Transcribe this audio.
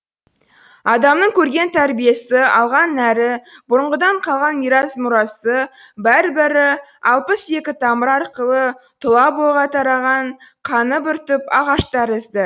адамның көрген тәрбиесі алған нәрі бұрынғыдан қалған мирас мұрасы бәрі бәрі алпыс екі тамыр арқылы тұла бойға тараған қаны бір түп ағаш тәрізді